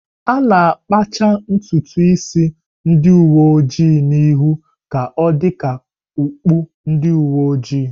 A na-akpacha ntutu isi ndị uwe ojii n'ihu ka ọ dị ka okpu ndi uwe ojii.